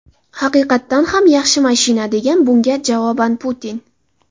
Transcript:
Haqiqatan ham, yaxshi mashina”, degan bunga javoban Putin.